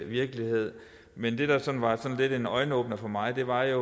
virkelighed men det der sådan var lidt en øjenåbner for mig var at